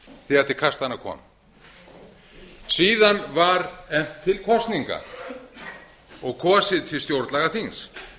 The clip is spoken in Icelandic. þegar til kastanna kom síðan var efnt til kosninga og kosið til stjórnlagaþings